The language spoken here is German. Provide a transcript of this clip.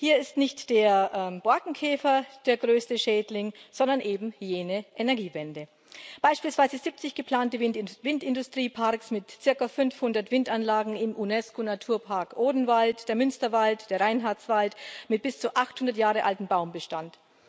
Hier ist nicht der Borkenkäfer der größte Schädling, sondern eben jene Energiewende beispielsweise 70 geplante Windindustrieparks mit zirka 500 Windanlagen im UNESCO Naturpark Odenwald, der Münsterwald, der Reinhardswald mit bis zu 800 Jahre altem Baumbestand.